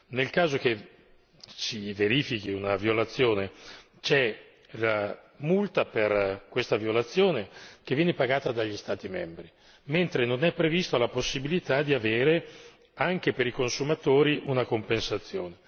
Nel caso che si verifichi una violazione c'è la multa per questa violazione che viene pagata dagli Stati membri, mentre non è prevista la possibilità di avere, anche per i consumatori, una compensazione.